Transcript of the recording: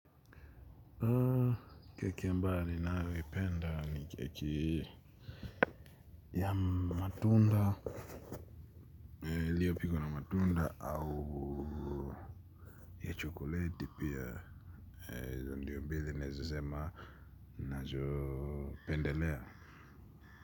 Keki ambayo ninayoipenda ni keki ya matunda. Iliyopikwa na matunda au ya chokoleti pia. Ndio mbili nawezasema ninazopendelea.